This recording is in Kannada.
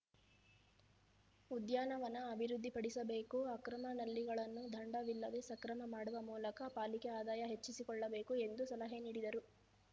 ಉದ್ಯಾನವನ ಅಭಿವೃದ್ಧಿಪಡಿಸಬೇಕು ಅಕ್ರಮ ನಲ್ಲಿಗಳನ್ನು ದಂಡ ವಿಲ್ಲದೆ ಸಕ್ರಮ ಮಾಡುವ ಮೂಲಕ ಪಾಲಿಕೆ ಆದಾಯ ಹೆಚ್ಚಿಸಿಕೊಳ್ಳಬೇಕು ಎಂದು ಸಲಹೆ ನೀಡಿದರು